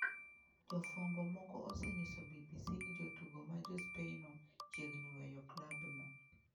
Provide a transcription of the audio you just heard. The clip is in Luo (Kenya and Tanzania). Jofwambo moko osenyiso BBC ni jatugo ma Ja Spainno chiegni weyo klabno.